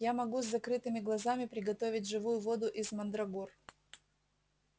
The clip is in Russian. я могу с закрытыми глазами приготовить живую воду из мандрагор